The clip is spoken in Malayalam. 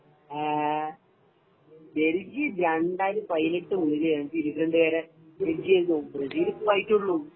ഏ ബെൽജിയം 2018 മുതല് ബെൽജിയം ഇംഗ്ലണ്ട് കാരെ ബെൽജിയാണ് തോല്പ്പിക്കല് ബ്രസീല് ഇപ്പോ ആയിക്കേ ഉള്ളു